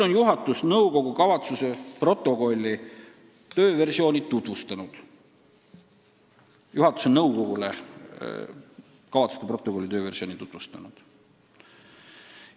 Ning juhatus on nõukogule kavatsuste protokolli tööversiooni tutvustanud.